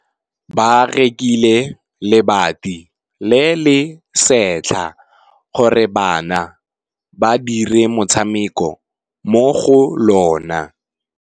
Ba rekile lebati le le setlha gore bana ba dire motshameko mo go lona.